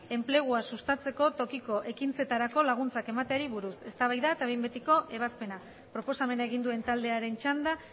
enpleguasustatzeko tokiko ekintzetarako laguntzak emateari buruz eztabaida eta behin betiko ebazpena proposamena egin duen taldearen txanda